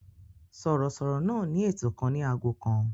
Sọ̀rọ̀sọ̀rọ̀ náà ní ètò kan ní ago kan.